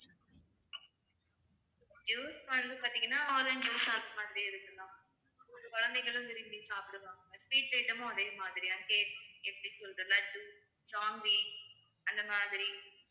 juice வந்து பார்த்தீங்கன்னா orange juice அந்த மாதிரி இருக்கலாம் குழந்தைகளும் விரும்பி சாப்பிடுவாங்க sweet item ம் அதே மாதிரி தான் cake எப்படி சொல்றது லட்டு ஜாங்கிரி அந்த மாதிரி